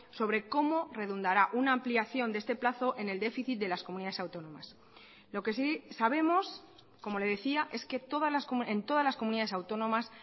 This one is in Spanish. sobre cómo redundará una ampliación de este plazo en el déficit de las comunidades autónomas lo que sí sabemos como le decía es que en todas las comunidades autónomas